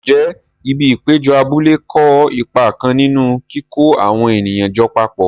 Ǹjẹ́ ibi ìpéjọ abúlé kó ipa kan nínú kíkó àwọn ènìyàn jọ papọ̀?